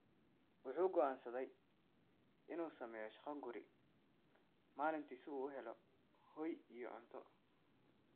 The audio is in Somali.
Wuxuu go’aansaday inuu sameeyo shaqo guri maalintii si uu u helo hoy iyo cunto.